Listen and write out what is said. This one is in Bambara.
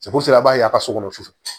a b'a ye a ka so kɔnɔ su